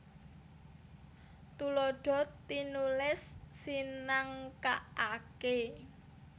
Tuladha tinulis sinengkakaké